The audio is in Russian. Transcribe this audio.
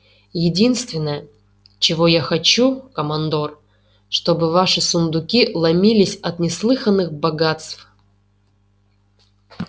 единственное чего я хочу командор чтобы ваши сундуки ломились от неслыханных богатств